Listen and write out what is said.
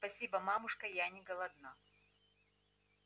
спасибо мамушка я не голодна